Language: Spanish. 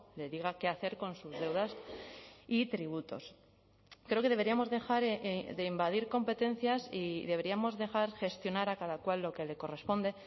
le diga qué hacer con sus deudas y tributos creo que deberíamos dejar de invadir competencias y deberíamos dejar gestionar a cada cual lo que le corresponde